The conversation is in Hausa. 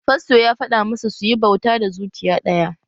Fasto ya fada masu suyi bauta da zuciya ɗaya